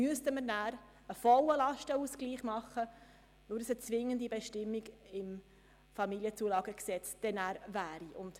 Dann müssten wir einen vollen Lastenausgleich machen, da es sich um eine zwingende Bestimmung im Bundesgesetz über die Familienzulagen vom 24. März 2006 (Familienzulagengesetz, FamZG) handelt.